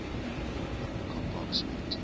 biblecor box wellington